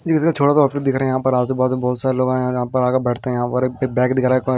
छोटा सा ऑफिस दिख रहा हैं यहा पर आजूबाजू बहुत सारे लोग आए और यहां पर आकर बैठते हैं यहां पर एक बैग दिख रहा है।